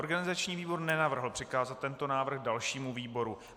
Organizační výbor nenavrhl přikázat tento návrh dalšímu výboru.